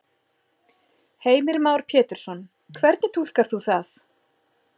Heimir Már Pétursson: Hvernig túlkar þú það?